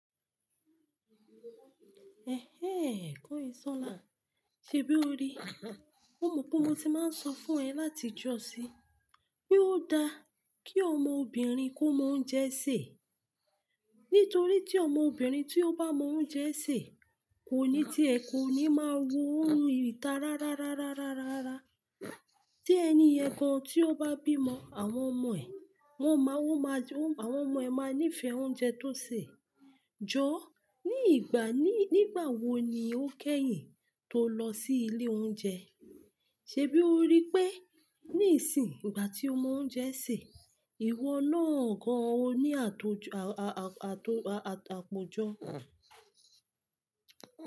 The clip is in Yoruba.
Ehéh, kányìnsọ́lá. Ṣèbí o rí? Ó mọ̀ pé mo ti máa ń sọ fún ẹ láti ìjọ̀ sí, pé ó da kí ọmọbìnrin kó mọ̀ ounjẹ sé. Nítorí tí ọmọbìnrin tí ó bá mọ oúnjẹ sè, kò ní tí ẹ kò ní máa wo ìta rárárárárárá. Tí ẹni yen gàn tí ó bá bímọ, àwọn ọmọ ẹ̀, wọ́n máa, wọ́n máa, àwọn ọmọ ẹ̀ máa nífẹ̀ẹ́ oúnjẹ tó sè. Jọ̀ọ́, ní ìgbà ní, nígbà wo ni o kẹ́yìn tó lọ sí ilé oúnjẹ? Ṣé bí o rí pé níìsín ìgbà tí o mọ oúnjẹ sè, ìwọ náà gan an o ní akojọ.